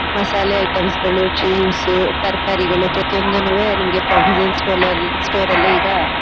ಮಸಾಲೆ ಐಟಮ್ಸ್ ಗಳು ಜ್ಯೂಸು ತರಕಾರಿಗಳು ಪ್ರತಿಯೊಂದುನುವೆ ನಮಗೆ ಪ್ರಾವಿಷನ್ ಸ್ಟೋಲ್ ಸ್ಟೋರ ಅಲ್ಲಿ ಈಗ--